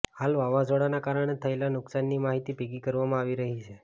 હાલ વાવાઝોડાના કારણે થયેલા નુકસાનની માહિતી ભેગી કરવામાં આવી રહી છે